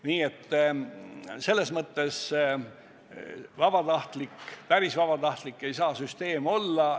Nii et selles mõttes päris vabatahtlik ei saa see süsteem olla.